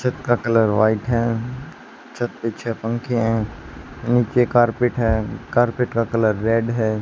छत का colour white है छत पर नीचे छे पंखे हैं नीचे कारपेट है कारपेट का कलर रेड है।